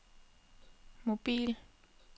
mobil